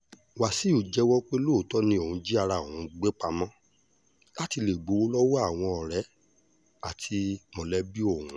Wasiu jẹ́wọ́ pé lóòótọ́ ni òun jí ara òun gbé pamọ́, láti lè gbowó lọ́wọ́ àwọn ọ̀rẹ́ àti àwọn mọ̀lẹ́bí ̀òun